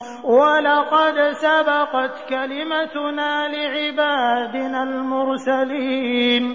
وَلَقَدْ سَبَقَتْ كَلِمَتُنَا لِعِبَادِنَا الْمُرْسَلِينَ